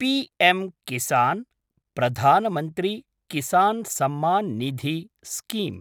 पीएम्-किसान् प्रधान् मन्त्री किसान् सम्मान् निधि स्कीम